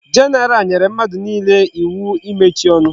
General nyere mmadu niile iwu imechi onu